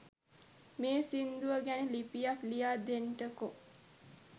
මේ සිංදුව ගැන ලිපියක් ලියා දෙන්ටකෝ